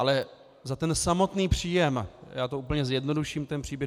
Ale za ten samotný příjem - já to úplně zjednoduším, ten příběh.